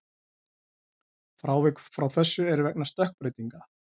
Frávik frá þessu eru vegna stökkbreytinga.